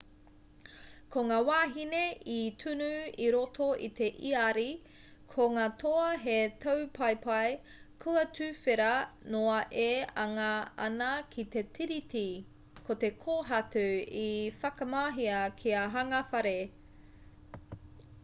ko ngā wāhine i tunu i roto i te iāri ko ngā toa he taupaepae kua tuwhera noa e anga ana ki te tiriti ko te kōhatu i whakamahia kia hanga whare